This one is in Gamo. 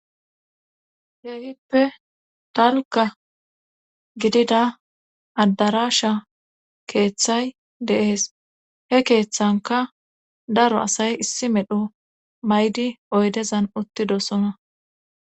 Heehippe dalka gidida addarasha keeththay deees he keeththanka daro asay issi medho maydi oydezan uttidosona.